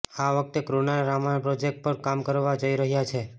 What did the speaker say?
આ વખતે કૃણાલ રામાયણ પ્રોજેક્ટ પર કામ કરવા જઈ રહ્યા છે